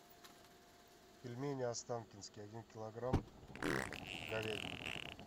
пельмени останкинские один килограмм говядина